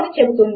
కానీ అది అంతే